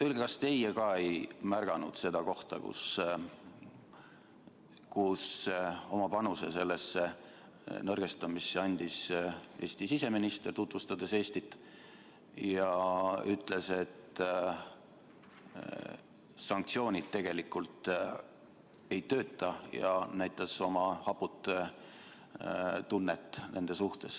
Öelge, kas teie ka ei märganud seda kohta, kus oma panuse sellesse nõrgestamisse andis Eesti siseminister, tutvustades Eestit ja öeldes, et sanktsioonid tegelikult ei tööta, näidates oma haput tunnet nende suhtes.